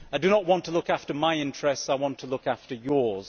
I do not want to look after my interests, I want to look after yours.